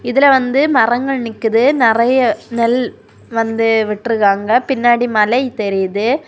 இதுல வந்து மரங்கள் நிக்குது நெறைய நெல் வந்து விட்டுருக்காங்க பின்னாடி மலைதெரியுது.